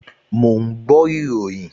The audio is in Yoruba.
Mò ń gbọ́ ìròyìn